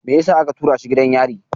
Me yasa aka tura shi gidan yari?